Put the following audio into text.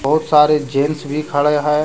बहुत सारे जेंट्स भी खड़े हैं।